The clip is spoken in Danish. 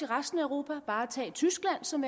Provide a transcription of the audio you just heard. resten af europa bare tag tyskland som